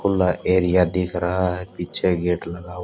खुला एरिया दिख रहा है पीछे गेट लगा हु--